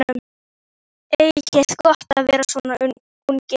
Þið eigið gott að vera svona ungir.